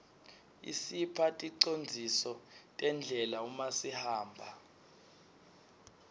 isipha ticondziso tendlela uma sihamba